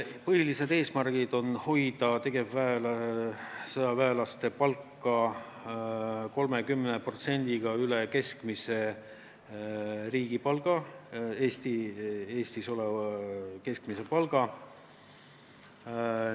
Põhiline eesmärk on hoida sõjaväelaste palk 30% üle Eesti keskmise palga.